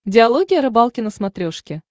диалоги о рыбалке на смотрешке